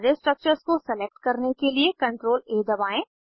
सारे स्ट्रक्चर्स को सलेक्ट करने के लिए CTRLA दबाएं